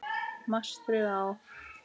Mastrið á